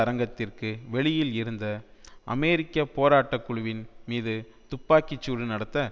அரங்கத்திற்கு வெளியில் இருந்த அமெரிக்க போராட்டகுழுவின் மீது துப்பாக்கி சூடு நடத்த